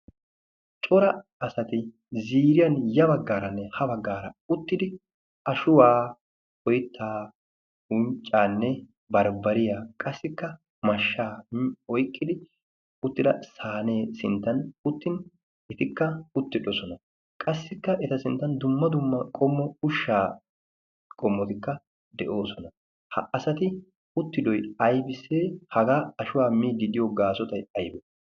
Cora asati ziriyan ya baggaaranne ha baggaara uttidi ashuwaa oyttaa unccaanne barbbariya qassikka mashshaa oyqqidi uttida saanee sinttan uttin itikka uttidosona. Qassikka eta sinttan dumma dumma qommo ushshaa qommotikka de'oosona. Ha asati uttidoy aybissee? Hagaa ashuwaa miidi diyo gaasotai aybe?